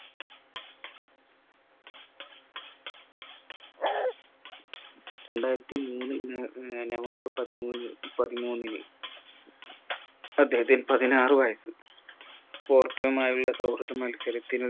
രണ്ടായിരത്തി മൂന്ന് ന ആഹ് നവംബർ പതിമൂന്ന് പതിമൂന്നിന് അദ്ദേഹത്തിന് പതിനാറ് വയസ്സ് പോർട്ടോമായുള്ള സൗഹൃദ മത്സരത്തിനു